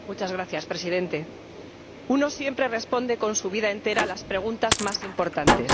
Señor Presidente, uno siempre responde con su vida entera a las preguntas más importantes.